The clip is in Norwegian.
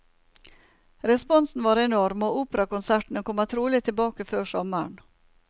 Responsen var enorm, og operakonsertene kommer trolig tilbake før sommeren.